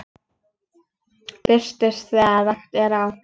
Birtist þegar rakt er á.